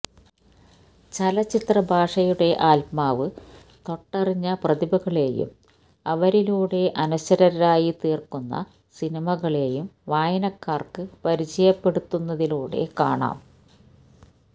ചലച്ചിത്ര ഭാഷയുടെ ആത്മാവ് തൊട്ടറിഞ്ഞ പ്രതിഭകളെയും അവരിലൂടെ അനശ്വരരായിത്തീര്ക്കുന്ന സിനിമകളേയും വായനക്കാര്ക്ക് പരിചയപ്പെടുത്തുന്നതിലൂടെ കാണാം